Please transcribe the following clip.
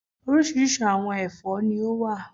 Orísirísi àwọn ẹ̀fọ́ ni ó wà